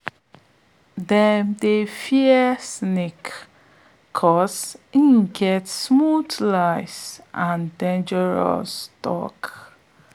dem dey fear snake cause im get smooth lies and dangerous tongue